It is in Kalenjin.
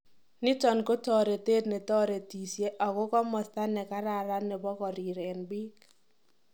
Niton ko toretet netoretisie ago komosto nekararan nebo korireen biik.